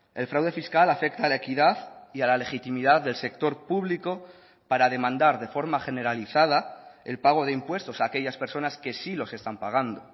el fraude fiscal afecta a la equidad y a la legitimidad del sector público para demandar de forma generalizada el pago de impuestos a aquellas personas que sí los están pagando